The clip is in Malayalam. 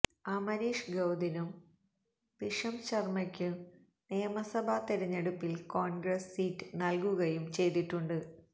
അമരീഷ് ഗൌതിനും ഭിഷം ശര്മയ്ക്ക് നിയമസഭാ തിരഞ്ഞെടുപ്പില് കോണ്ഗ്രസ് സീറ്റ് നല്കുകയും ചെയ്തിട്ടുണ്ട്